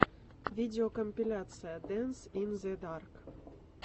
видеокомпиляция дэнс ин зе дарк